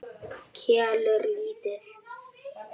Kelur lítið.